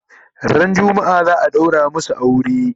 Ran jumma'a za'a ɗaura masu aure?